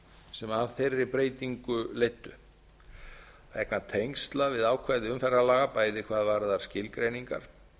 sem af þeirri breytingu leiddu vegna tengsla við ákvæði umferðarlaga bæði hvað varðar skilgreiningar